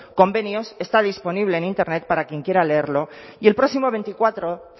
convenios está disponible en internet para quien quiera leerlo y el próximo veinticuatro